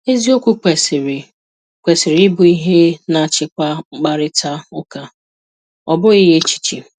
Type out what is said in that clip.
Eziokwu kwesịrị kwesịrị ịbụ ihe na-achịkwa mkparịta ụka a, ọ bụghị echiche.